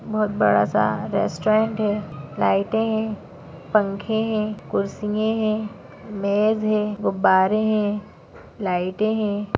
बहुत बड़ा सा रेस्टोरंट है लाइटे है पंखे है कुर्सिये है मेज है गुब्बारे है लाइटे है।